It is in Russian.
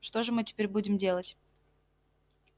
что же мы теперь будем делать